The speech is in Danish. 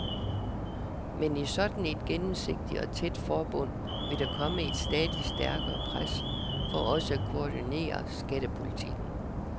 Men i sådan et gennemsigtigt og tæt forbund vil der komme et stadig stærkere pres for også at koordinere skattepolitikken.